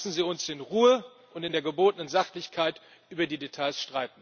Lassen Sie uns in Ruhe und in der gebotenen Sachlichkeit über die Details